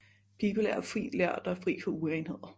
Pibeler er fint ler der er fri for urenheder